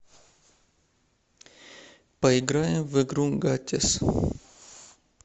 поиграем в игру гатес